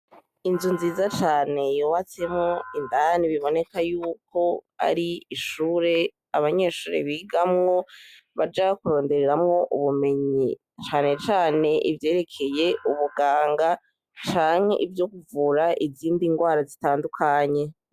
Inzu nziza cane yobatsemo indani biboneka yuko ari ishure abanyeshuri bigamwo baja kurondereramo ubumenyi cane cane ivyerekeye ubuganga canke ibyo kuvura izindi ndwara zitandukanye.